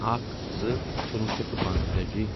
اکھ زٕ کُنوُہ شیٚتھ تہٕ پانٛژتٲجی